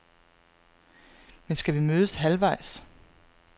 Men skal vi mødes halvvejs?